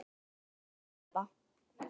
Hverjir tapa?